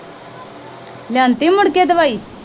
ਲਿਆਂਤੀ ਮੁੜਕੇ ਦਵਾਈ?